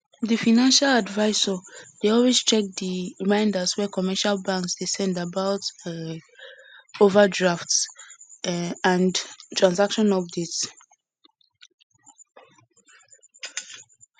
di financial advisor dey always check di reminders wey commercial banks dey send about um overdraft um and transaction updates